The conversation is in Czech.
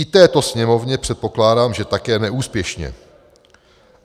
I této Sněmovně, předpokládám, že také neúspěšně.